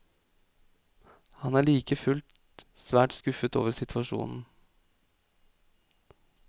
Han er like fullt svært skuffet over situasjonen.